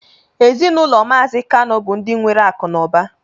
Ezinụlọ mazi kanu bu ndi nwere akụ na ụba